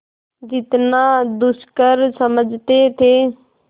जितना दुष्कर समझते थे